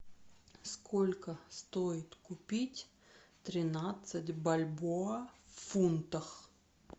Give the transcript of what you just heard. сколько стоит купить тринадцать бальбоа в фунтах